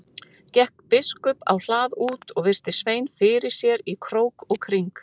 Gekk biskup á hlað út og virti Svein fyrir sér í krók og kring.